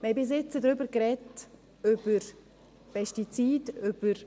Wir haben bis jetzt über Pestizide,